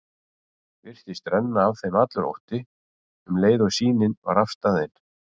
Virtist renna af þeim allur ótti, um leið og sýnin var afstaðin.